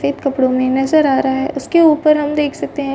सफ़ेद कपड़ों में नज़र आ रहा है उसके ऊपर हम देख सकते है ।